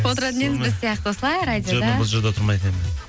отыратын едіңіз біз сияқты осылай радиода бұл жерде отырмайтын едім